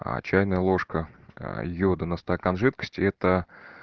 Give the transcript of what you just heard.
а чайная ложка йода на стакан жидкости это